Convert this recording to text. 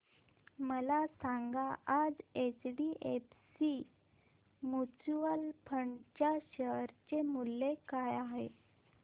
मला सांगा आज एचडीएफसी म्यूचुअल फंड च्या शेअर चे मूल्य काय आहे